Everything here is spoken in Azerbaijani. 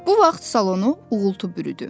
Bu vaxt salonu uğultu bürüdü.